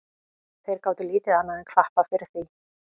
Þeir gátu lítið annað enn klappað fyrir því.